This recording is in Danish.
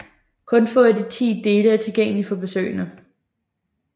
Kun få af de ti dele er tilgængelige for besøgende